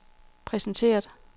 præsenteret